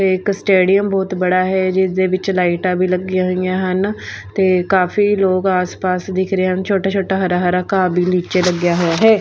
ਇਹ ਇੱਕ ਸਟੇਡੀਅਮ ਬਹੁਤ ਬੜਾ ਹੈ ਜਿਸਦੇ ਵਿੱਚ ਲਾਈਟਾ ਵੀ ਲੱਗੀਆਂ ਹੋਈਆਂ ਹਨ ਤੇ ਕਾਫੀ ਲੋਗ ਆਸ-ਪਾਸ ਦਿਖ ਰਹੇ ਹਨ। ਛੋਟਾ-ਛੋਟਾ ਹਰਾ-ਹਰਾ ਘਾਹ ਵੀ ਨੀਚੇ ਲੱਗਿਆ ਹੋਇਆ ਹੈ।